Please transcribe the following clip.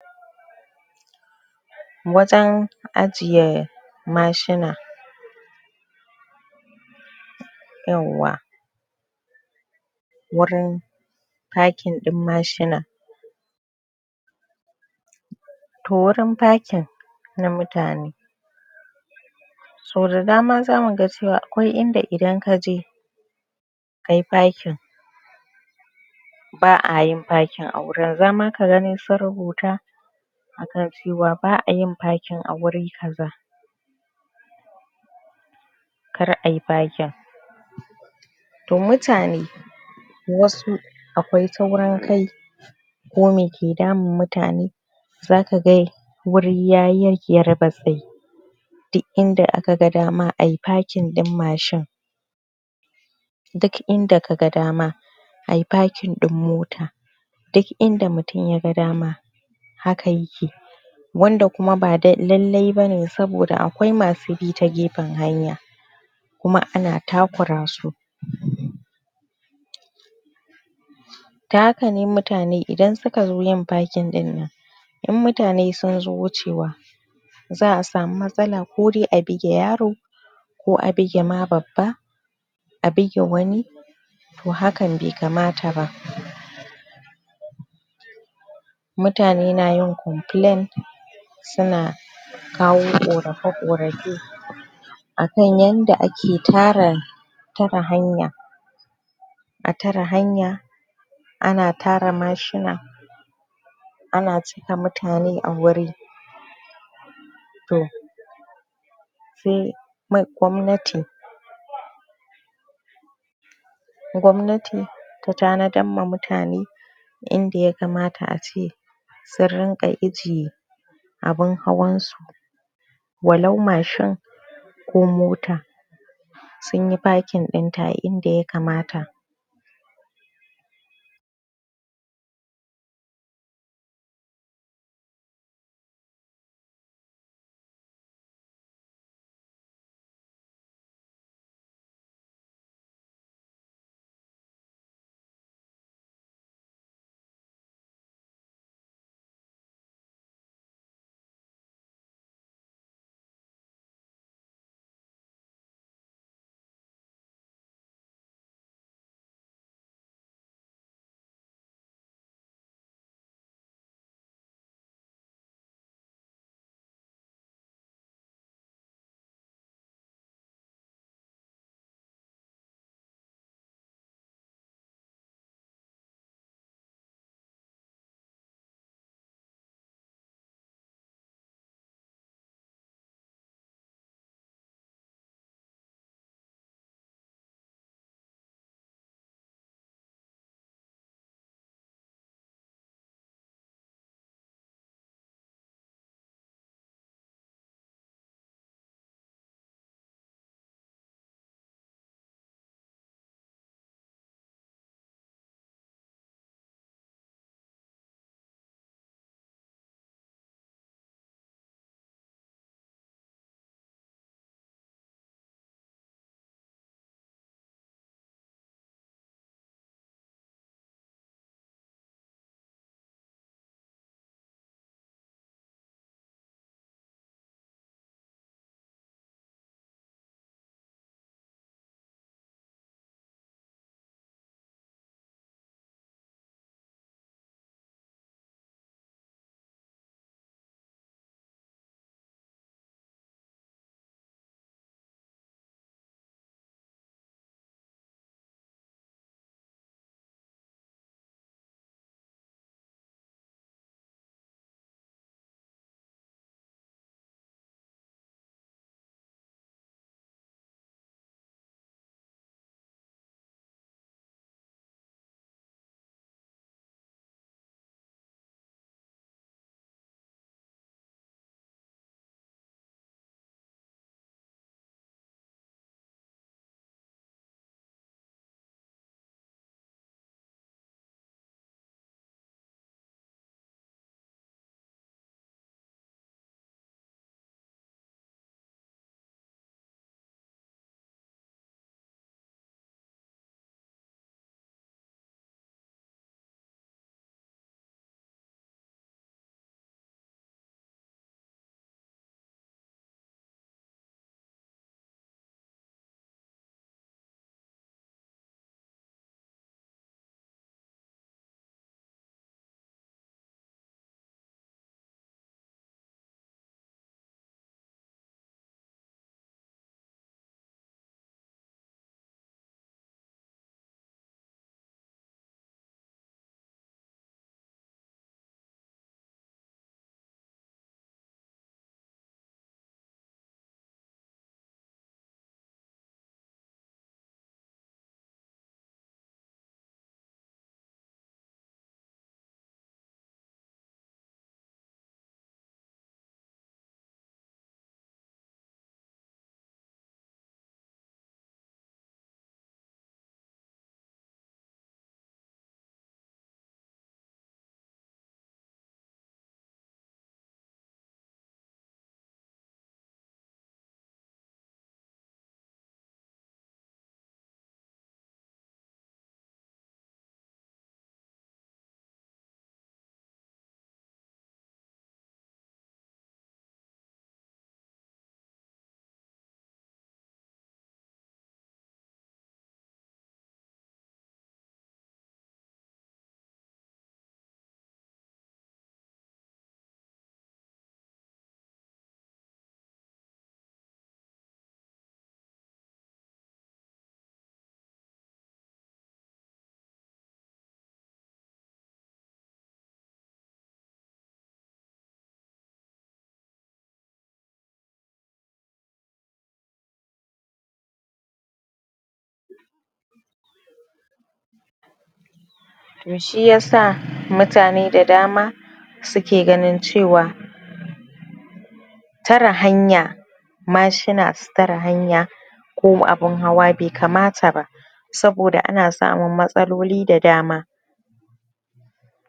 Wajen ajiye mashina yauwa wurin packing ɗin mashina. To wurin packing na mutane, to da dama za mu ga cewa akwai inda idan ka je kayi packing ba'a ayin packin a wurin. Za ma ka gani sun rubuta akan cewa ba'a yin packing a wuri kaza, kar ayi packing. To mutane wasu akwai taurin kai ko me ke damun mutane, za ka ga, wuri yayi ya yarbatsai. Duk inda aka dama ayi packing ɗin mashin. Duk inda ka ga dama, ayi packing ɗin moto. Duk inda mutum ya ga dama, haka ya ke yi Wanda kuma ba dai, lallai bane saboda akwai masu bi ta gefen hanya, kuma ana taƙura su. Ta haka ne mutane idan suka zo yin packing ɗin nan in mutane sun zo wucewa za'a samu matsala, kodai a bige yaro, ko a bige ma babba. A bige wani to hakan be kamat ba. Mutane na yin complain su na kawo ƙorafe-ƙorafe. A san yanda ake tara tare hanya, a tare hanya ana tara mashina ana cika mutane a guri. To sai ma gwamnati, gwamnati ta tanadar da mutane inda ya kamata ace su rinƙa ije abun hawan su. Walau mashin ko mota sun yi packing ɗinta a inda ya kamata. To shi yasa mutane da dama su ke ganin cewa tare hanya, mashina su tare hanya ko abun hawa be kamata ba. Saboda ana samun matsaloli da dama.